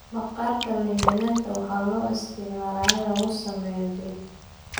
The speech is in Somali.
Maqaarka liin dhanaanta waxaa loo isticmaali karaa in lagu sameeyo keeg.